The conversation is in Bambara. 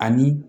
Ani